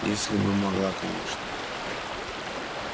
если бы могла конечно